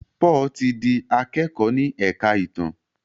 Paul tí dì akẹkọ ní èka ìtàn.